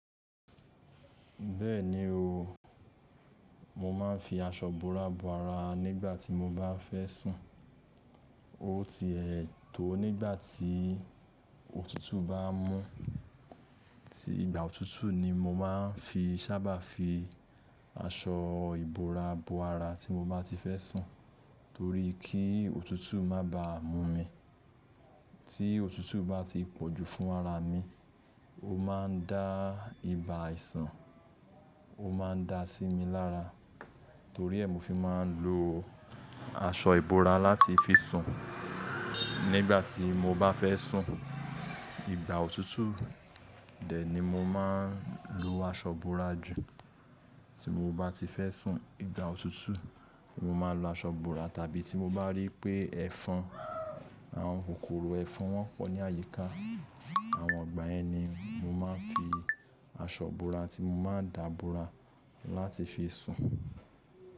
Bẹ́ẹ̀ni o, mo máa ń fi aṣọ bora bo ara nígbà tí mo bá fẹ́ sùn. O ti ẹ̀ tọ̀ nígbà tí òtútù bá mú, tí ìgbà òtútù ni mo máa ń fi sábà fi aṣọ ìbora bo ara tí mo bá ti fẹ́ sùn torí kí òtútù má bá mú mi. Tí òtútù bá ti pọ̀jù fún ara mi, ó máa ń dá ibà ìsàn, ó máa ń da sí mi lára torí ẹ̀ mi fi máa ń lo aṣọ ìbora láti fi sùn. Nígbà tí mo bá fẹ́ sùn, ìgbà òtútù, dẹ̀ ni mo máa ń lo aṣọ búra jù. Tí mo bá ti fẹ́ sùn ìgbà òtútù, mo máa ń lo aṣọ búra tàbí tí mo bá rí pé ẹ̀fọn, àwọn kòkòrò ẹ̀fọn wọ́n pọ̀ ní àyíká, àwọn ọ̀gbà ẹni, mo máa ń fi aṣọ búra tí mo máa ń da búra láti fi sùn.